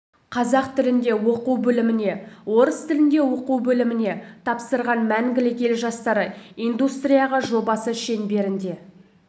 қазақ тілінде оқу бөліміне орыс тілінде оқу бөліміне тапсырған мәңгілік ел жастары индустрияға жобасы шеңберінде